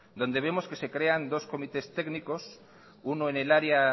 donde vemos que se crean dos comités técnicos uno en el área